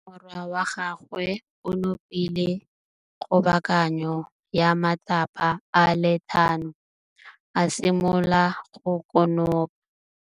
Morwa wa gagwe o nopile kgobokanô ya matlapa a le tlhano, a simolola go konopa.